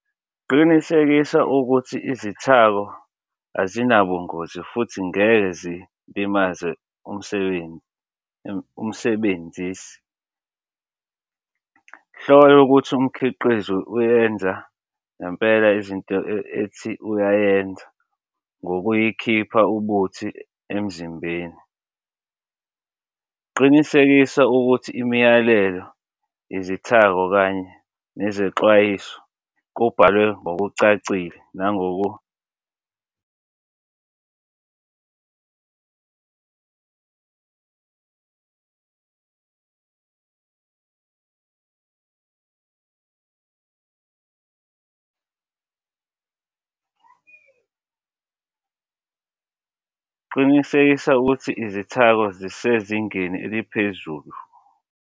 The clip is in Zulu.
Qinisekisa ukuthi izithako azinabungozi futhi ngeke zilimaze umsebenzi umsebenzisi. Hlola ukuthi umkhiqizo uyenza ngempela izinto ethi uyayenza nokuyikhipha ubuthi emzimbeni. Qinisekisa ukuthi imiyalelo, izithako kanye nezexwayiso kubhalwe ngokucacile nangoko . Qinisekisa ukuthi izithako zisezingeni eliphezulu.